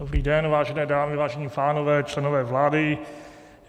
Dobrý den, vážené dámy, vážení pánové, členové vlády.